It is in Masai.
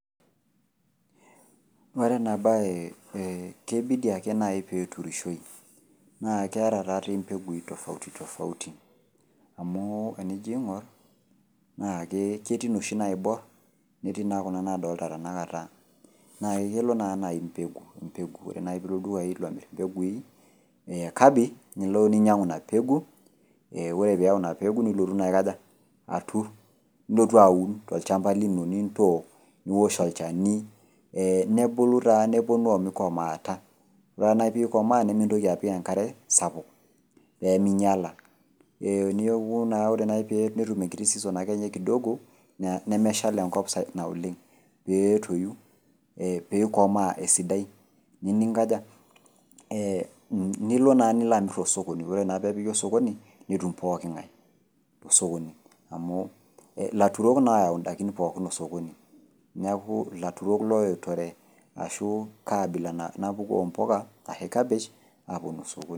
Ore ena bae keibidi ake nayi piiturishoyu. Naa keeta taa dei imbegu tofauti tofauti. Amu te nijo ing'or naa ketii inoshi naibor netiinaa kuna nadolita tena kata, naa kelo naa nai mbegu mbegu ore nai piilo ildukai lomir mbegui neekabich niloninyang'u nena pegu, ore piiyau ina pegu nilotu aun tolchamba lino nintook niosh olchani nebulu taa newuonu omeikomoata. Ore taa nai pee eikomaa nimintoki apik enkare sapuk, pee meinyala. Neaku taa naaji ore petum enkiti season akeninye kidogo nemeshal enkop oleng' peetoyu peikomaa esidai nilo naa amir te sokoni ore naa peepiki sokoni netum pooking'ae te sokoni amu ilaturok naa loyau indaiki sokoni.